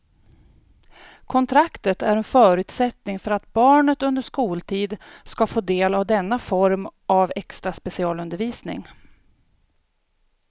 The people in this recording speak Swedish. Kontraktet är en förutsättning för att barnet under skoltid ska få del av denna form av extra specialundervisning.